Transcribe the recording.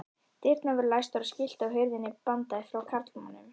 Dyrnar voru læstar og skilti á hurðinni bandaði frá karlmönnum.